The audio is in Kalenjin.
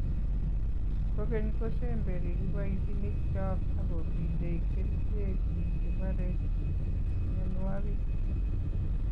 kokeny, ko semberi kiboitinikcho ak kobiite kerichek cheborei mionwokik